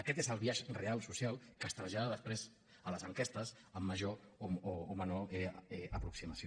aquest és el biaix real social que es trasllada després a les enquestes amb major o menor aproximació